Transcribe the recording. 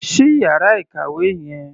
Ṣí ìyára ìkàwé yẹn.